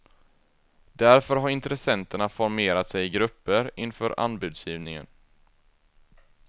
Därför har intressenterna formerat sig i grupper inför anbudsgivningen.